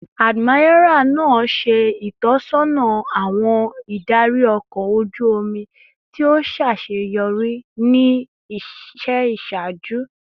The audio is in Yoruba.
Admiral naa ṣe itọsọna awọn idari ọkọ oju omi ti o ṣaṣeyọri ni iṣẹ iṣaaju